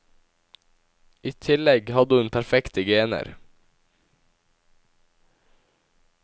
I tillegg hadde hun perfekte gener.